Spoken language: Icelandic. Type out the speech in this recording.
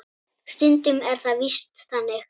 Stundum er það víst þannig.